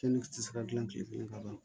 ti se ka gilan kile kelen ka ban